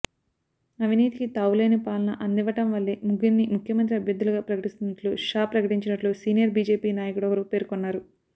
అవినీతికి తావులేని పాలన అందివ్వడం వల్లే ముగ్గురినీ ముఖ్యమంత్రి అభ్యర్థులుగా ప్రకటిస్తున్నట్లు షా ప్రకటించినట్లు సీనియర్ బీజేపీ నాయకుడొకరు పేర్కొన్నారు